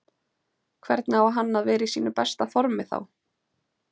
Hvernig á hann að vera í sínu besta formi þá?